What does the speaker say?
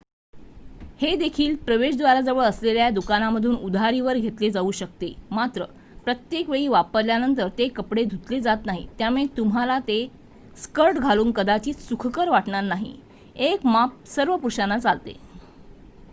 हेदेखील प्रवेश द्वाराजवळ असलेल्या दुकानामधून उधारीवर घेतले जाऊ शकते मात्र प्रत्येकवेळी वापरल्यानंतर ते कपडे धुतले जात नाहीत त्यामुळे तुम्हाला हे स्कर्ट घालून कदाचित सुखकर वाटणार नाही एक माप सर्व पुरुषांना चालते